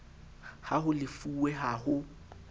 ha ho lefuwe ha ho